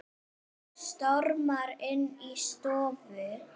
Stormar inn í stofu.